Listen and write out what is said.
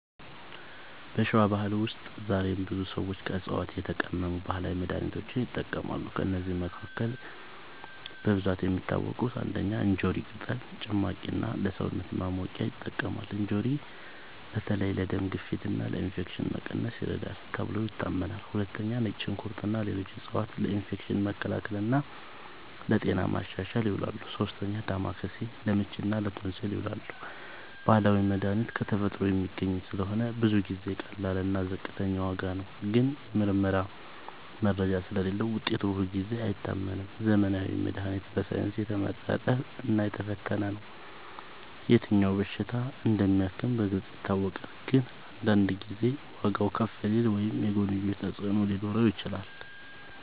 በሸዋ ባህል ውስጥ ዛሬም ብዙ ሰዎች ከዕፅዋት የተቀመሙ ባህላዊ መድሃኒቶችን ይጠቀማሉ። ከእነዚህ መካከል በብዛት የሚታወቁት፦ ፩. እንጆሪ ቅጠል ጭማቂ እና ለሰውነት ማሞቂያ ይጠቅማል። እንጆሪ በተለይ ለደም ግፊት እና ለኢንፌክሽን መቀነስ ይረዳል ተብሎ ይታመናል። ፪. ነጭ ሽንኩርት እና ሌሎች ዕፅዋት ለኢንፌክሽን መከላከል እና ለጤና ማሻሻል ይውላሉ። ፫. ዳማከሴ ለምች እና ለቶንሲል ይዉላል። ባህላዊ መድሃኒት ከተፈጥሮ የሚገኝ ስለሆነ ብዙ ጊዜ ቀላል እና ዝቅተኛ ዋጋ ነው። ግን የምርመራ መረጃ ስለሌለዉ ውጤቱ ሁልጊዜ አይታመንም። ዘመናዊ መድሃኒት በሳይንስ የተመረጠ እና የተፈተነ ነው። የትኛው በሽታ እንደሚያክም በግልጽ ይታወቃል። ግን አንዳንድ ጊዜ ዋጋዉ ከፍ ሊል ወይም የጎንዮሽ ተፅዕኖ ሊኖረው ይችላል።